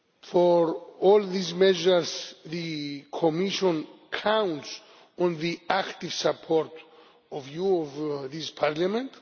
For all these measures, the Commission counts on the active support of this Parliament.